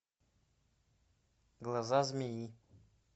глаза змеи